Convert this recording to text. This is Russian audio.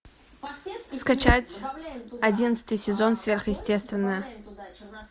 скачать одиннадцатый сезон сверхъестественное